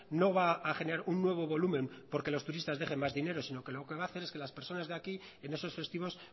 no va a generar un nuevo volumen porque los turistas dejen más dinero sino lo que van a hacer es que las personas de aquí en esos festivos